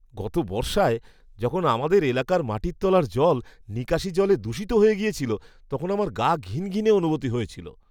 গত বর্ষায় যখন আমাদের এলাকার মাটির তলার জল নিকাশী জলে দূষিত হয়ে গেছিল তখন আমার গা ঘিনঘিনে অনুভূতি হয়েছিল।